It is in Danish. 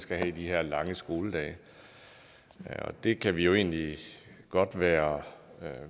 skal have de her lange skoledage det kan vi egentlig godt være